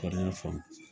Kɔni y'a faamu